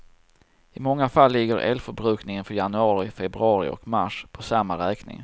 I många fall ligger elförbrukningen för januari, febrauri och mars på samma räkning.